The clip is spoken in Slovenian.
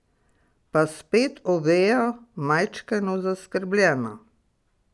Pa spet Oveja, majčkeno zaskrbljena.